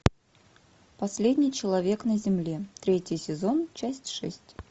последний человек на земле третий сезон часть шесть